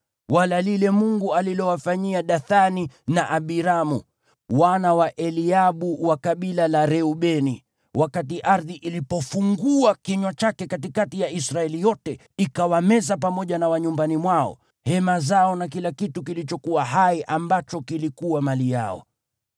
wala lile Mungu alilowafanyia Dathani na Abiramu, wana wa Eliabu wa kabila la Reubeni, wakati ardhi ilipofungua kinywa chake katikati ya Israeli yote, ikawameza pamoja na walio nyumbani mwao, hema zao na kila kitu kilichokuwa hai ambacho kilikuwa mali yao.